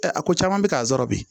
a ko caman bɛ k'a sɔrɔ bi